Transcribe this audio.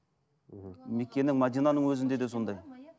мхм меккенің мединаның өзінде де сондай